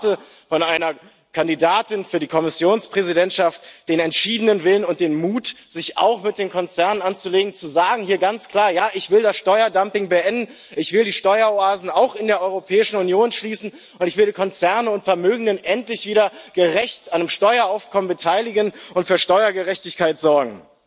Ich erwarte von einer Kandidatin für die Kommissionspräsidentschaft den entschiedenen Willen und den Mut, sich auch mit den Konzernen anzulegen und hier ganz klar zu sagen Ja, ich will das Steuerdumping beenden, ich will die Steueroasen auch in der Europäischen Union schließen, und ich will Konzerne und Vermögen endlich wieder gerecht am Steueraufkommen beteiligen und für Steuergerechtigkeit sorgen.